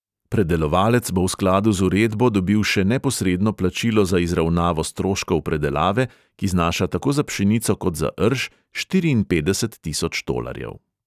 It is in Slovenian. Predelovalec bo v skladu z uredbo dobil še neposredno plačilo za izravnavo stroškov predelave, ki znaša tako za pšenico kot za rž štiriinpetdeset tisoč tolarjev.